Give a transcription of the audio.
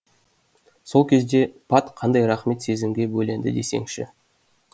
сол кезде пат қандай сезімге бөленді десеңізші